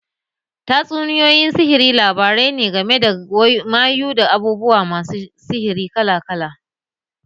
Tatsuniyoyin sihiri labarai ne game da mayu, da abubuwa masu sihiri kala kala